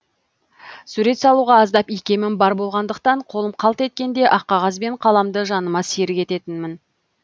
сурет салуға аздап икемім бар болғандықтан қолым қалт еткенде ақ қағаз бен қаламды жаныма серік ететінмін